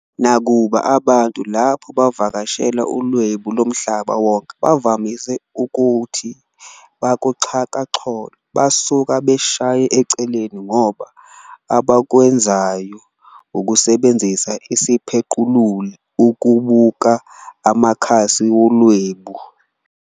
Nakuba abantu lapho bevakashela uLwebu LoMhlaba Wonke bevamise ukuthi bakuxhakaxholo, basuka beshaya eceleni ngoba abakwenzayo ukusebenzisa isiphequluli ukubuka amakhasi wolwebu.